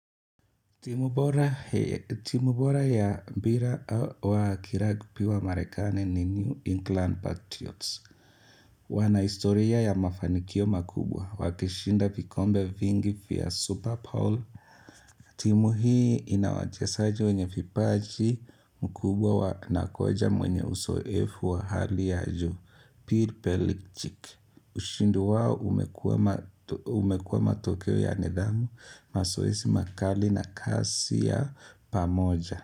Timu bora ya mbira wa kiragbi wa marekane ni New England Patriots. Wana historia ya mafanikio makubwa. Wakishinda vikombe vingi pia Super bowl. Timu hii ina wachezaji wenye vipaji mkubwa wa na kocha mwenye uzoefu wa hali ya juu. Pir pelichiki. Ushindi wao umekuwa matokeo ya nidhamu, mazoezi makali na kazi ya pamoja.